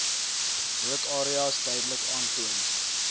rookareas duidelik aantoon